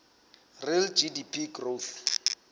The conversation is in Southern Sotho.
real gdp growth